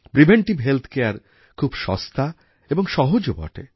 preventive health care খুব সস্তা এবং সহজও বটে